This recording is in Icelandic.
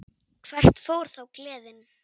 Hvert fór þá gleðin?